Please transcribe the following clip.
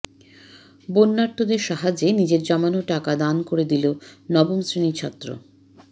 বন্যার্তদের সাহায্যে নিজের জমানো টাকা দান করে দিল নবম শ্রেণির ছাত্র